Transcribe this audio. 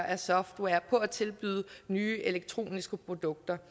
af software på at tilbyde nye elektroniske produkter